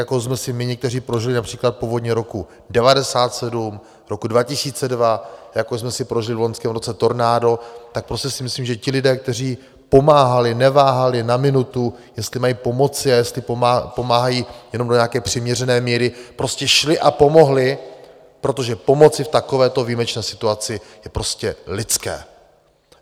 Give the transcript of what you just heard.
Jako jsme si my někteří prožili například povodně roku 1997, roku 2002, jako jsme si prožili v loňském roce tornádo, tak prostě si myslím, že ti lidé, kteří pomáhali, neváhali na minutu, jestli mají pomoci a jestli pomáhají jenom do nějaké přiměřené míry, prostě šli a pomohli, protože pomoci v takovéto výjimečné situaci je prostě lidské.